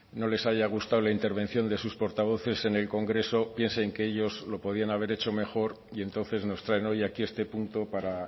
no les haya gustado la intervención de sus portavoces en el congreso piensen que ellos lo podían haber hecho mejor y entonces nos traen hoy aquí este punto para